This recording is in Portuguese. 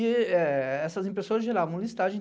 E essas impressoras geravam listagem.